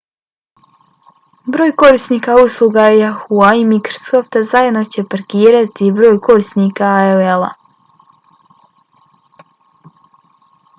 broj korisnika usluga yahoo!-a i microsofta zajedno će parirati broju korisnika aol-a